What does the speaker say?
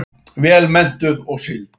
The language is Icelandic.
Vel menntuð og sigld.